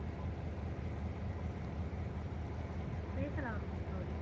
பேசலாம் கௌரி